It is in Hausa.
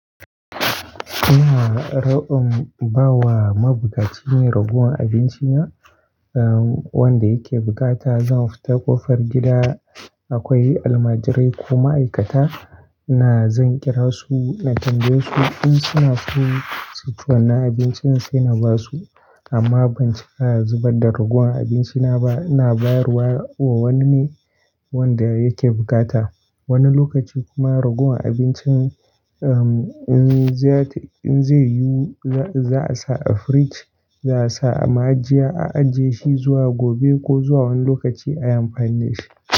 Ina ra'in bawa mabukaci ne raguwar abincina, uhm, wanda yake bukata. Zan fita kofar gida, akwai almajirai ko ma'aikata, ina zan kira su, na tambaye su in suna so su ci wannan abincin sai na basu amma ban cika zubarda raguwar abinci na ba, ina bayarwa wa wani ne wanda yake bukata. Wani lokaci kuma raguwar abincin, uhm, in zai, in zai yiwu za'a sa a firij, za'a sa a ma'ajiya a ajiye shi zuwa gobe ko zuwa wani lokaci ayi amfani da shi.